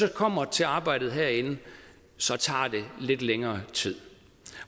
det kommer til arbejdet herinde tager lidt længere tid